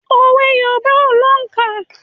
Òwe Yorùbá ò lóǹkà.